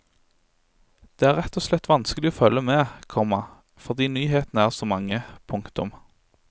Det er rett og slett vanskelig å følge med, komma fordi nyhetene er så mange. punktum